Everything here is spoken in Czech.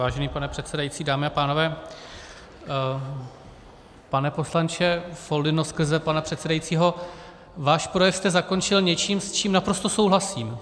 Vážený pane předsedající, dámy a pánové, pane poslanče Foldyno skrze pana předsedajícího, svůj projev jste zakončil něčím, s čím naprosto souhlasím.